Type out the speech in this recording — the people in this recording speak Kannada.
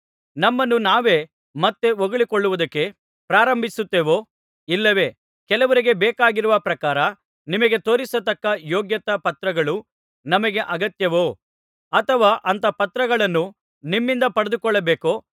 ನಮ್ಮನ್ನು ನಾವೇ ಮತ್ತೆ ಹೊಗಳಿಕೊಳ್ಳುವುದಕ್ಕೆ ಪ್ರಾರಂಭಿಸುತ್ತೇವೋ ಇಲ್ಲವೆ ಕೆಲವರಿಗೆ ಬೇಕಾಗಿರುವ ಪ್ರಕಾರ ನಿಮಗೆ ತೋರಿಸತಕ್ಕ ಯೋಗ್ಯತಾ ಪತ್ರಗಳು ನಮಗೆ ಅಗತ್ಯವೋ ಅಥವಾ ಅಂಥ ಪತ್ರಗಳನ್ನು ನಿಮ್ಮಿಂದ ಪಡೆದುಕೊಳ್ಳಬೇಕೋ